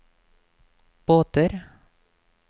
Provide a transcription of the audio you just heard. båter